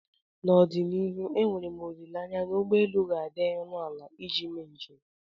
n'ọdịnihu enwere m olileanya na ụgbọ elu ga-adị ọnụ ala iji mee njem